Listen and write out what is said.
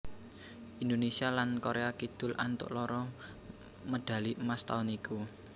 Indonésia lan Korea Kidul antuk loro medhali emas taun iku